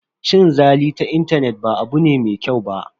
Cin zali ta intanet ba abu ne mai kyau ba.